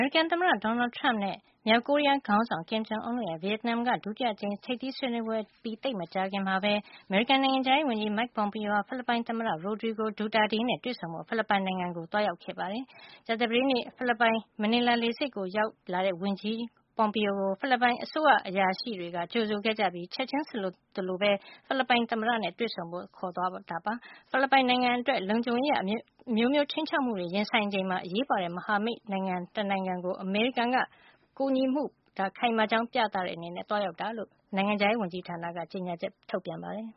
ရိကန် သမ္မတ Donald Trump နဲ့ မြောက်ကိုရီးယားခေါင်းဆောင် Kim Jong Un တို့ရဲ့ ဗီယက်နမ်နိုင်ငံက ဒုတိယအကြိမ်မြောက် ထိပ်သီးဆွေးနွေးပွဲ အပြီး သိပ်မကြာ ခင်မှာပဲ အမေရိကန်နိုင်ငံခြားရေး ဝန်ကြီး Mike Pompeo ဟာ ဖိလစ်ပိုင်သမ္မတ Rodrigo Duterte နဲ့ တွေ့ဆုံဆွေးနွေးဖို့ ဖိလစ်ပိုင်နိုင်ငံကို ရောက်ရှိသွားပါတယ်။ ကြာသပတေးနေ့မှာ ဖိလစ်ပိုင်နိုင်ငံ Manila လေဆိပ်ကို ရောက်လာတဲ့ ဝန်ကြီး Pompeo ကို ဖိလစ်ပိုင် အစိုးရအရာရှိတွေက ကြိုဆိုခဲ့ကြပြီး ချက်ချင်းဆိုသလိုပဲ ဖိလစ်ပိုင် သမ္မတနဲ့ တွေ့ဆုံဖို့ ခေါ်ဆောင်သွားတာဖြစ်ပါတယ်။ ဖိလစ်ပိုင်နိုင်ငံအတွက် လုံခြုံရေးအရ အမျိုးမျိုး ခြိမ်းခြောက်မှုတွေနဲ့ ရင်ဆိုင်နေရချိန်မှာ အရေးပါတဲ့ မဟာမိတ်နိုင်ငံဖြစ်တဲ့ ဖိလစ်ပိုင်ကို အမေရိကန်က ကူညီပံ့ပိုးမှုပေးတာကို ခိုင်မာကြောင်း ပြသတဲ့အနေနဲ့ ဖိလစ်ပိုင်ကို ဝန်ကြီး Pompeo ခရီးစဉ်သွားရောက်တာ ဖြစ်ကြောင်း အမေရိကန် နိုင်ငံခြားရေးဌာနက ကြေညာချက် ထုတ်ပြန်ပါတယ်